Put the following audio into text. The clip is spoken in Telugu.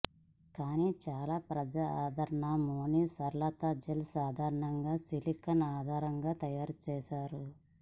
కానీ చాలా ప్రజాదరణ యోని సరళత జెల్ సాధారణంగా సిలికాన్ ఆధారంగా తయారు చేస్తారు